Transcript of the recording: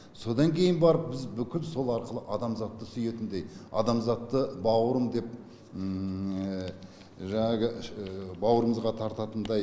содан кейін барып біз бүкіл сол арқылы адамзатты сүйетіндей адамзатты бауырым деп жаңағы бауырымызға тартатындай